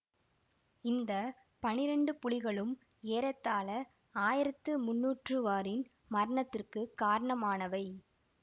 இந்த பனிரெண்டு புலிகளும் ஏறத்தாழ ஆயிரத்து முந்நூற்றூவாரின் மரணத்துக்குக் காரணமானவை